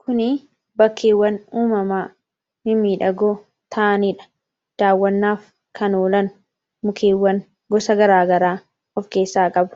kuni bakkeewwan uumamaa mimiidhagoo ta'aniidha daawwannaaf kanoolan mukeewwan gosa garaagaraa of keessaa qabu